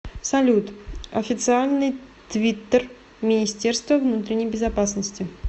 салют официальный твиттер министерство внутренней безопасности